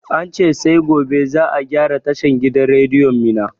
Ance sai gobe za a gyara tashan gidan rediyon mina